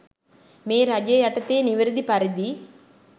මේ රජය යටතේ නිවැරදි පරිදි